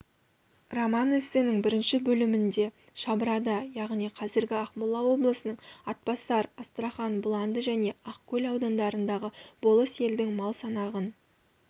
роман-эссенің бірінші бөлімінде шабырада яғни қазіргі ақмола облысының атбасар астрахан бұланды және ақкөл аудандарындағы болыс елдің мал санағын